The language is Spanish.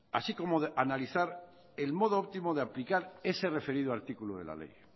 así como analizar el modo óptimo de aplicar ese referido artículo de la ley